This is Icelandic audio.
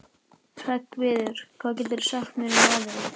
Hreggviður, hvað geturðu sagt mér um veðrið?